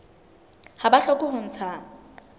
ha ba hloke ho ntsha